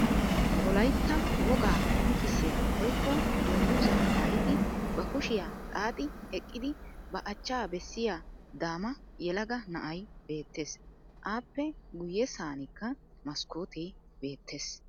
Wolayitta wogaa qonccissiya woyikko dungguzzaa mayyidi ba kushiya xaaxi eqqidi ba achcaa bessiya daama yelaga na'ay beettes. Aappe guyyessankka maskkootee beettes.